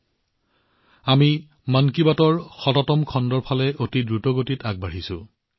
আমি দ্ৰুতগতিত মন কী বাতৰ শতকৰ দিশে আগবাঢ়িছো